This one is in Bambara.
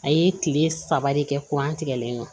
A ye kile saba de kɛ an tigɛlen don